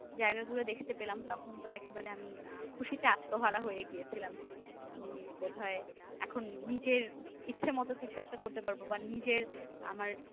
জায়গা গুলো দেখতে পেলাম তখন তো আমি একেবারে খুশিতে আত্মহারা হয়ে গিয়েছিলাম যে আমি বোধহয় এখন নিজের ইচ্ছা মতো কিছু একটা করতে পারবো বা নিজের